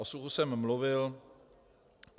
O suchu jsem mluvil.